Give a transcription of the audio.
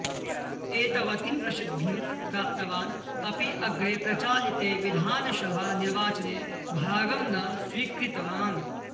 एतवतीं प्रसिद्धिं प्राप्तवान् अपि अग्रे प्रचालिते विधानसभा निर्वाचने भागं न स्वीकृतवान्